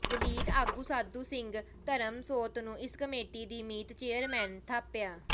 ਦਲਿਤ ਆਗੂ ਸਾਧੂ ਸਿੰਘ ਧਰਮਸੋਤ ਨੂੰ ਇਸ ਕਮੇਟੀ ਦੇ ਮੀਤ ਚੇਅਰਮੈਨ ਥਾਪਿਆ